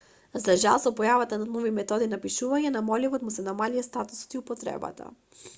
за жал со појавата на нови методи на пишување на моливот му се намалија статусот и употребата